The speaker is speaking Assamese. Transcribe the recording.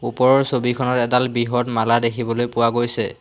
ওপৰৰ ছবিখনত এডাল বৃহৎ মালা দেখিবলৈ পোৱা গৈছে।